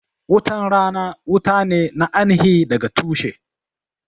Wutan rana wuta ne na aini hi daga tushe